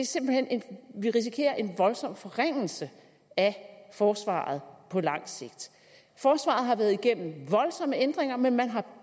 simpelt hen en voldsom forringelse af forsvaret på lang sigt forsvaret har været igennem voldsomme ændringer men man har